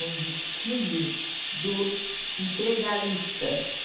Um desfile dos integralistas.